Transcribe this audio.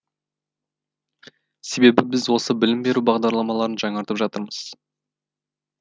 себебі біз осы білім беру бағдарламаларын жаңартып жатырмыз